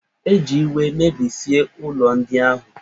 E ji iwe mebisie ụlọ ndị ahụ